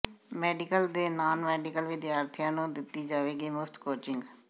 medical ਤੇ non medical ਵਿਦਿਆਰਥੀਆਂ ਨੂੰ ਦਿੱਤੀ ਜਾਵੇਗੀ ਮੁਫਤ ਕੋਚਿੰਗ